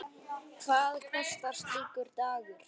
Hvað kostar slíkur dagur?